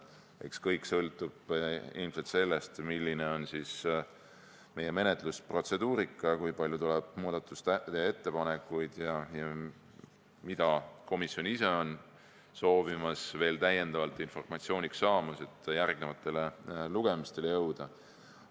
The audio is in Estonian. Eks kõik sõltub ilmselt sellest, milline on meie menetlusprotseduurika, kui palju tuleb muudatusettepanekuid ja mille kohta komisjon ise soovib veel täiendavat informatsiooni saada, enne kui järgnevatele lugemistele tulla.